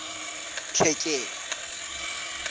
tlhekelo